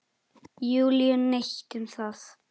Júlíu neitt um það.